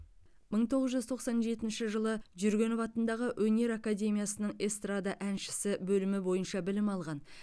мың тоғыз жүз тоқсан жетінші жылы жүргенов атындағы өнер академиясының эстрада әншісі бөлімі бойынша білім алған